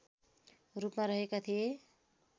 रूपमा रहेका थिए